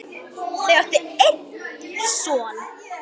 Þau áttu einn son.